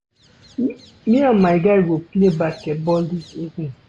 Me and my guy go play basket ball dis evening.